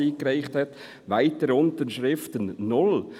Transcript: «Weitere Unterschriften: 0.»